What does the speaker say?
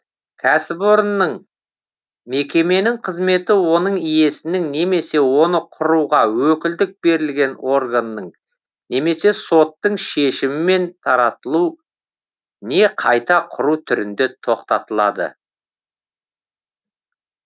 кәсіпорынның мекеменің қызметі оның иесінің немесе оны құруға өкілдік берілген органның немесе соттың шешімімен таратылу не қайта құру түрінде тоқтатылады